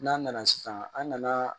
N'an nana sisan an nana